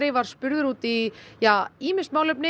var spurður út í ýmis málefni